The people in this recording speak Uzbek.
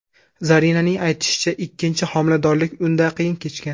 Zarinaning aytishicha, ikkinchi homiladorlik unda qiyin kechgan.